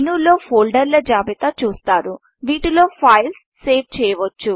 మెనూలో ఫోల్డర్ల జాబితా చూస్తారు వీటిలో ఫైల్ను సేవ్ చేయవచ్చు